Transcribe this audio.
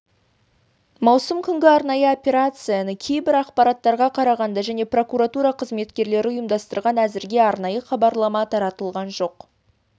маусым күнгі арнайы операцияны кейбір ақпараттарға қарағанда және прокуратура қызметкерлері ұйымдастырған әзірге арнайы хабарлама таратылған жоқ